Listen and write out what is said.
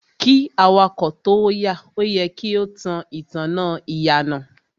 Kí awakọ̀ tóo yà, o yẹ kí o tan ìtanná ìyànà.